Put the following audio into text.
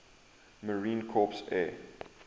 marine corps air